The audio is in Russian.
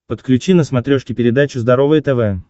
подключи на смотрешке передачу здоровое тв